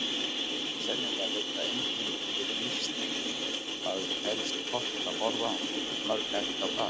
Sennilega veit það enginn fyrir víst hvað telst hollt að borða mörg egg á dag.